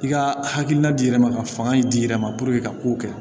I ka hakilina di yɛrɛ ma ka fanga in di yɛrɛ ma ka kow kɛ